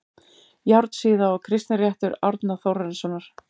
Járnsíða og Kristinréttur Árna Þórarinssonar